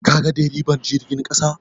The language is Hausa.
Kaga deriban jirgin ƙasan?